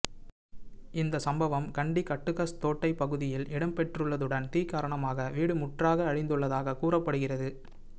இந்த சம்பவம் கண்டி கட்டுகஸ்தோட்டை பகுதியில் இடம்பெற்றுள்ளதுடன் தீ காரணமாக வீடு முற்றாக அழித்துள்ளதாக கூறப்படுகிறது